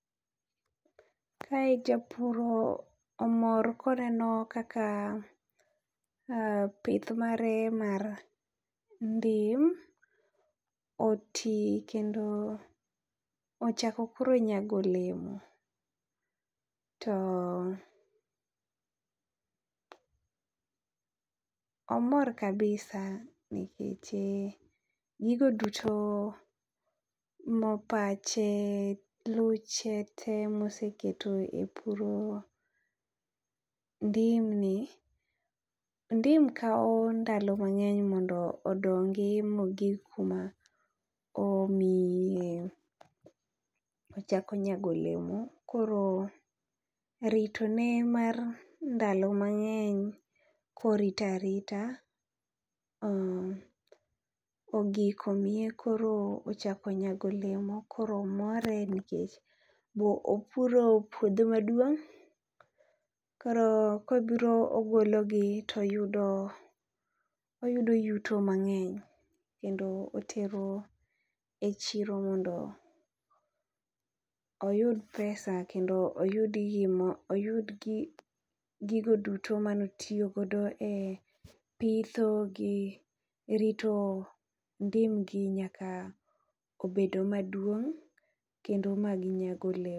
kae japur omor koneno kaka pith mare mar ndim oti kendo ochako koro nyago olemo. To omor kabisa nekeche gigo duto ma pache, luche te moseketo e puro ndim ni. Ndim kawo ndalo mang'eny mondo odongi mogig kuma omiyi e chako nyago olemo. Koro rito ne mar ndalo mang'eny korita rita, ogik omiye koro ochako nyago olemo. Koro more nikech bo opuro puodho maduong', koro kobiro ogologi toyudo oyudo yuto mang'eny. Kendo otero e chiro mondo oyud gima oyud gigo duto manotiyogodo e pitho gi rito ndim gi nyaka obedo maduong' kendo ma ginyago olemo.